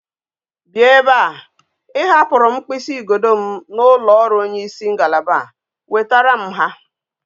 Bia ebe a! I hapuru m mkpisi igodo m na ulo oru onye isi ngalaba a, wetara m ha